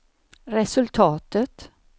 resultatet